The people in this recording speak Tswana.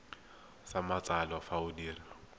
sa matsalo fa o dira